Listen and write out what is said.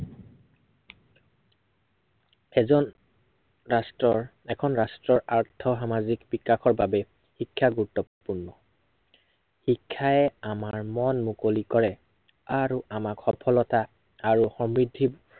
এজন ৰাষ্ট্ৰ্ৰৰ, এখন ৰাষ্ট্ৰৰ আৰ্থ সামাজিক বিকাশৰ বাবে শিক্ষা গুৰুত্বপূৰ্ণ। শিক্ষাই আমাৰ মন মুকলি কৰে। আৰু আমাক সফলতা, আৰু সমৃদ্ধিত